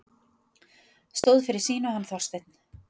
Stóð fyrir sínu, hann Þorsteinn.